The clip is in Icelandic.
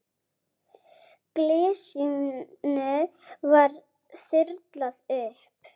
Glysinu var þyrlað upp.